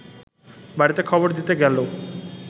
বাড়িতে খবর দিতে গেল